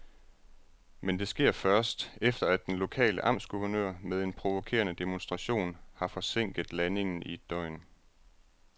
Men det sker først, efter at den lokale amtsguvernør med en provokerende demonstration har forsinket landingen i et døgn.